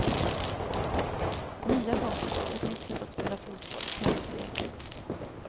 Nya kompisar, ett nytt sätt att spela fotboll, kallt och jäkligt.